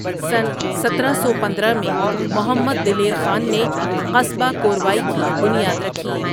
سنہ سترہ سو پندرہ میں محمد دلیر خان نے قصبہ کوروائی کی بنیاد رکھی ۔